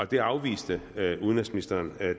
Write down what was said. det afviste udenrigsministeren